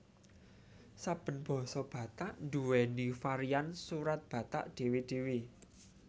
Saben basa Batak nduwèni varian Surat Batak dhéwé dhéwé